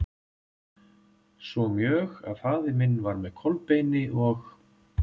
Svo mjög að faðir minn var með Kolbeini og